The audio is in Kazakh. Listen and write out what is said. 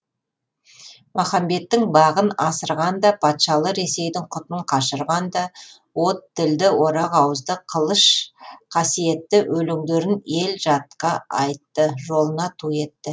махамбеттің бағын асырған да патшалы ресейдің құтын қашырған да от тілді орақ ауызды қылыш қасиетті өлеңдерін ел жатқа айтты жолына ту етті